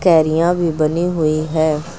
क्यारियां भी बनी हुई है।